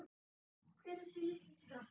Hver er þessi litli skratti?